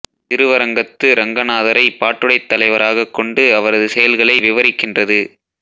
திருவரங்கத்து ரங்கநாதரைப் பாட்டுடைத் தலைவராகக் கொண்டு அவரது செயல்களை விவரிக்கின்றது